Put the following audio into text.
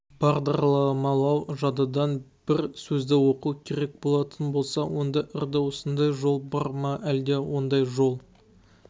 бағдарламалау жадыдан бір сөзді оқу керек болатын болса онда үрді осындай жол бар ма әлде ондай жол